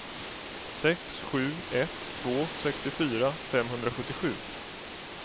sex sju ett två sextiofyra femhundrasjuttiosju